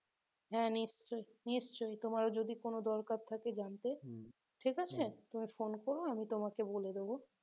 হ্যাঁ, নিশ্চয়ই নিশ্চয়ই তোমরা যদি কোন দরকার থাকে জানতে তুমি phone করো আমি তোমাকে বলে দেব